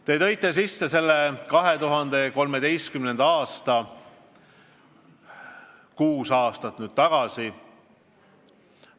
Te märkisite 2013. aastat, aega kuus aastat tagasi.